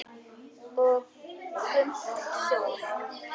Og Gump hljóp!